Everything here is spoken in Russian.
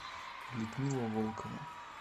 людмила волкова